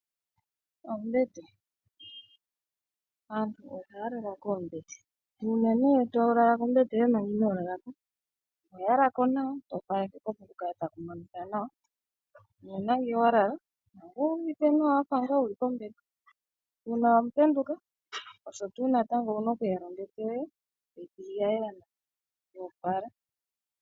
Oombete. Aantu ohaya lala koombete . Uuna nee tolala kombete yoye manga inoolalako ohoya lako nawa , to opaleke opo kukale taku monika nawa nu una ngee walala owu uvite nawa wafa ngaa wuli kombete . Uuna wapenduka osho tuu natango owuna okuyala ombete yoye etoyi thigi ya yela nawa , yoo pala.